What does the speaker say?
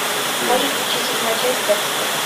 можешь включить седьмая часть декстер